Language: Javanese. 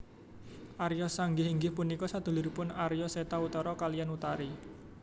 Arya Sangka inggih punika saduluripun Arya Seta Utara kaliyan Utari